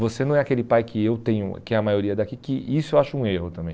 Você não é aquele pai que eu tenho, que é a maioria daqui, que isso eu acho um erro também.